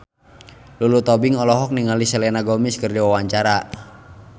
Lulu Tobing olohok ningali Selena Gomez keur diwawancara